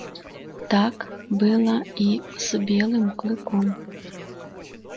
так было и с белым клыком